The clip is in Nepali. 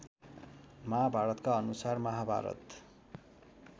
महाभारतका अनुसार महाभारत